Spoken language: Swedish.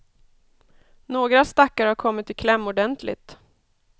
Några stackare har kommit i kläm ordentligt.